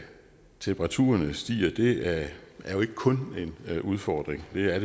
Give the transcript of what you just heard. temperaturerne stiger er ikke kun en udfordring det er